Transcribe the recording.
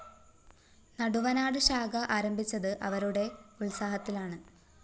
നടുവനാട്‌ ശാഖ ആരംഭിച്ചത്‌ അവരുടെ ഉത്സാഹത്തിലാണ്‌